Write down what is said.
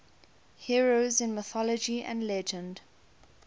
heroes in mythology and legend